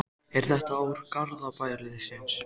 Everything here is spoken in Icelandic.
Er þetta ár Garðabæjarliðsins?